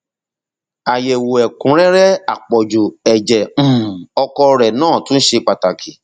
àyẹwò ẹkúnrẹrẹ àpọjù ẹjẹ um ọkọ rẹ náà tún ṣe pàtàkì